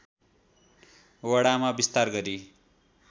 वडामा विस्तार गरी